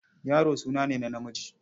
Yaro suna ne na namiji.